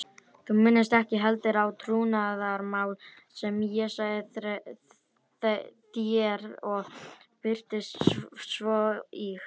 Þú minnist ekki heldur á trúnaðarmál sem ég sagði þér og birtist svo í